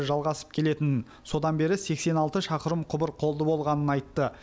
жалғасып келетінін содан бері сексен алты шақырым құбыр қолды болғанын айтты